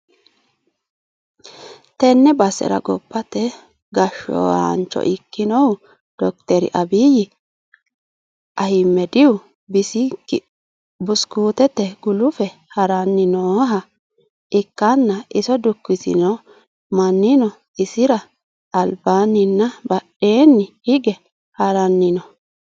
Tenne basera gobbate gashshshaancho ikkinohu dokiteri abbiyi ahiimedihu bishsikiliite gulufe ha'ranni nooha ikkanna, iso dukkisino mannino isira albaanninna badheenni hige haranni no.